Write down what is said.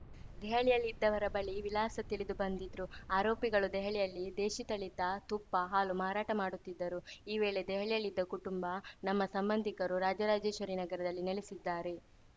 ದೆಹಲಿಯಲ್ಲಿದ್ದವರ ಬಳಿ ವಿಳಾಸ ತಿಳಿದು ಬಂದಿದ್ರು ಆರೋಪಿಗಳು ದೆಹಲಿಯಲ್ಲಿ ದೇಶಿ ತಳಿತ ತುಪ್ಪ ಹಾಲು ಮಾರಾಟ ಮಾಡುತ್ತಿದ್ದರು ಈ ವೇಳೆ ದೆಹಲಿಯಲ್ಲಿದ್ದ ಕುಟುಂಬ ನಮ್ಮ ಸಂಬಂಧಿಕರು ರಾಜರಾಜೇಶ್ವರಿನಗರದಲ್ಲಿ ನೆಲೆಸಿದ್ದಾರೆ